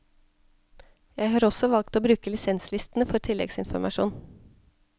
Jeg har også valgt å bruke lisenslistene for tillleggsinformasjon.